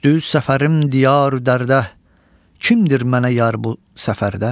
Düşdü səfərim diyar-i dərdə, kimdir mənə yar bu səfərdə?